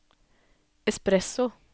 espresso